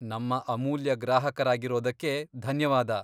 ನಮ್ಮ ಅಮೂಲ್ಯ ಗ್ರಾಹಕರಾಗಿರೋದಕ್ಕೆ ಧನ್ಯವಾದ.